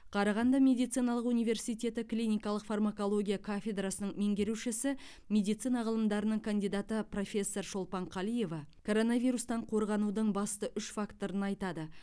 қарағанды медициналық университеті клиникалық фармакология кафедрасының меңгерушісі медицина ғылымдарының кандидаты профессор шолпан қалиева коронавирустан қорғанудың басты үш факторын айтады